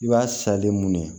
I b'a salen mun ye